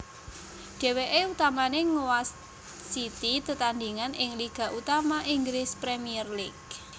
Dhèwèké utamané ngwasiti tetandhingan ing liga utama Inggris Premier League